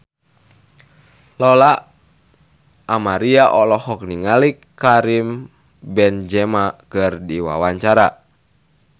Lola Amaria olohok ningali Karim Benzema keur diwawancara